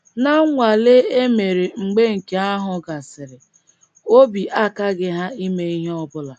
Ná nnwale e mere mgbe nke ahụ gasịrị, obi akaghị ha ime ihe ọ bụla.